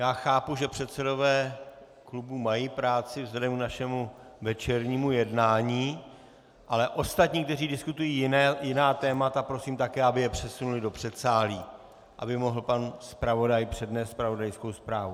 Já chápu, že předsedové klubů mají práci vzhledem k našemu večernímu jednání, ale ostatní, kteří diskutují jiná témata, prosím také, aby je přesunuli do předsálí, aby mohl pan zpravodaj přednést zpravodajskou zprávu.